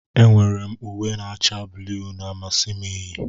Enwere m uwe na-acha blu na-amasị m iyi